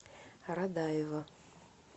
радаева